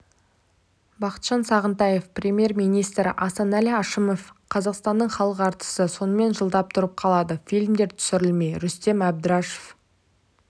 бақытжан сағынтаев премьер-министрі асаналі әшімов қазақстанның халық әртісі сонымен жылдап тұрып қалады фильмдер түсірілмей рүстем әбдірашов